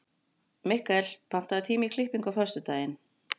Mikkel, pantaðu tíma í klippingu á föstudaginn.